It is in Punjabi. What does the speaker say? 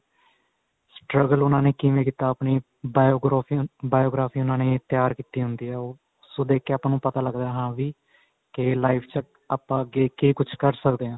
struggle ਉਹਨਾ ਨੇ ਕਿਵੇਂ ਕੀਤਾ ਆਪਣੀ biography biography ਉਹਨਾ ਨੇ ਤਿਆਰ ਕੀਤੀ ਹੁੰਦੀ ਏ ਉਸ ਤੋਂ ਦੇਖ ਕੇ ਆਪਾਂ ਨੂੰ ਪਤਾ ਲੱਗਦਾ ਕੀ ਹਾਂ ਵੀ ਕੀ life ਚ ਆਪਾਂ ਅੱਗੇ ਕੀ ਕੁੱਝ ਕਰ ਸਕਦੇ ਆ